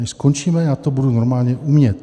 Než skončíme, já to budu normálně umět.